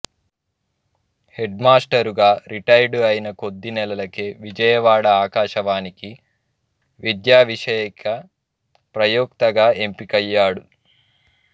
హెడ్మాస్టారుగా retired అయిన కొద్ది నెలలకే విజయవాడ ఆకాశవాణికి విద్యావిషయిక ప్రయోక్తగా ఎంపికయ్యాడు